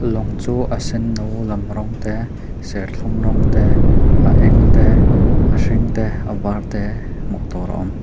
lawng chu a senno lam rawng te serthlum rawng te a eng te a hring te a var te hmuh tur a awm.